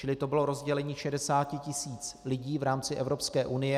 Čili to bylo rozdělení 60 000 lidí v rámci Evropské unie.